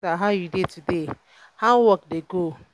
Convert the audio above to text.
my sister how you dey today um? how work dey go? um